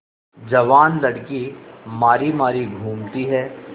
जवान लड़की मारी मारी घूमती है